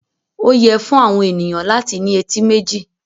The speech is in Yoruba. Ó yẹ fún àwọn ènìyàn láti ní etí méjì.